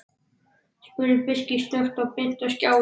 spurði Birkir snöggt og benti á skjáinn.